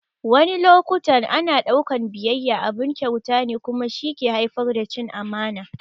Wani loƙutan ana daukan ɓiyayya abun kyauta ne kuma shi ke haifar da cin amana.